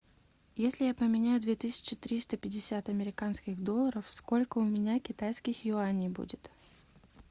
если я поменяю две тысячи триста пятьдесят американских долларов сколько у меня китайских юаней будет